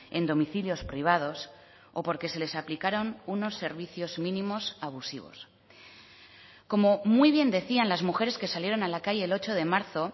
en domicilios privados o porque se les aplicaron unos servicios mínimos abusivos como muy bien decían las mujeres que salieron a la calle el ocho de marzo